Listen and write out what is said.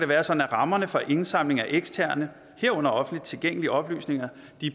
være sådan at rammerne for indsamling af eksterne herunder offentligt tilgængelige oplysninger